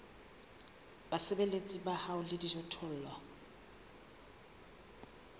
basebeletsi ba hao le dijothollo